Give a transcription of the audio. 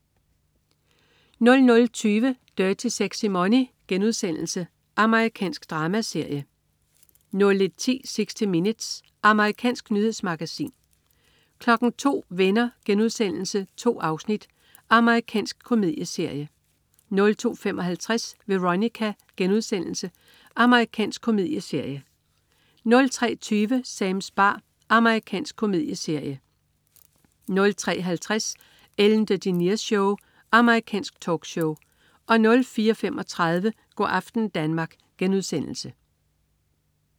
00.20 Dirty Sexy Money.* Amerikansk dramaserie 01.10 60 Minutes. Amerikansk nyhedsmagasin 02.00 Venner.* 2 afsnit. Amerikansk komedieserie 02.55 Veronica.* Amerikansk komedieserie 03.20 Sams bar. Amerikansk komedieserie 03.50 Ellen DeGeneres Show. Amerikansk talkshow 04.35 Go' aften Danmark*